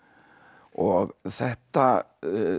og þetta